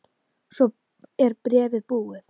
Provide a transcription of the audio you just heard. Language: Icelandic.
Svo er bréfið búið